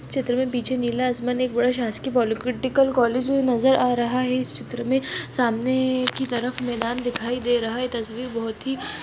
इस चित्र मे पीछे नीला आसमान एक बड़े शासकीय पॉलिटेक्नीक कॉलेज नजर आ रहा है इस चित्र मे सामने की तरफ मैदान दिखाई दे रहा है तस्वीर बहुत ही--